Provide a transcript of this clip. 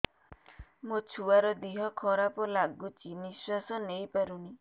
ମୋ ଛୁଆର ଦିହ ଖରାପ ଲାଗୁଚି ନିଃଶ୍ବାସ ନେଇ ପାରୁନି